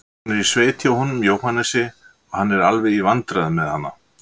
Hún er í sveit hjá honum Jóhannesi og hann er alveg í vandræðum með hana.